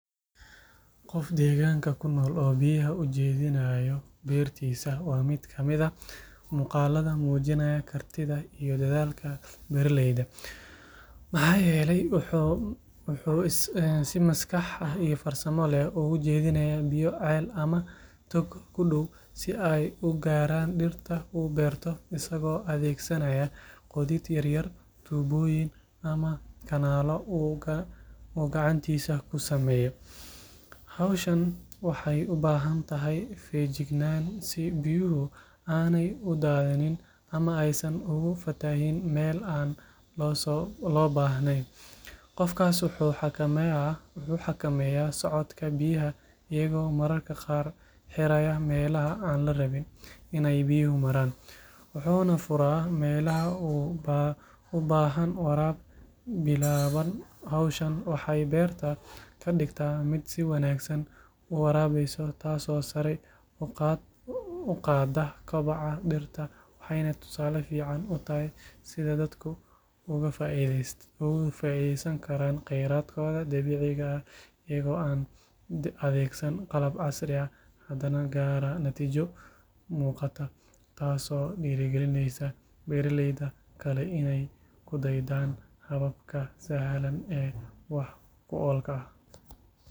Qof deegaanka ku nool oo biyaha u jeedinaya beertiisa waa mid ka mid ah muuqaalada muujinaya kartida iyo dadaalka beeraleyda maxaa yeelay wuxuu si maskax iyo farsamo leh uga jeedinayaa biyo ceel ama tog ku dhow si ay u gaaraan dhirta uu beerto isagoo adeegsanaya qodid yaryar tuubooyin ama kanaallo uu gacantiisa ku sameeyo hawshaas waxay u baahan tahay feejignaan si biyuhu aanay u daadineen ama aysan ugu fatahin meel aan loo baahnayn qofkaas wuxuu xakameeyaa socodka biyaha isagoo mararka qaar xiraya meelaha aan la rabin in ay biyuhu maraan wuxuuna furaa meelaha u baahan waraab bilaaban hawshan waxay beerta ka dhigtaa mid si wanaagsan u waraabeysa taasoo sare u qaadda kobaca dhirta waxayna tusaale fiican u tahay sida dadku uga faa’iideysan karaan kheyraadkooda dabiiciga ah iyagoo aan adeegsan qalab casri ah hadana gaara natiijo muuqata taasoo dhiirigelinaysa beeraleyda kale inay ku daydaan hababka sahlan ee wax ku oolka ah.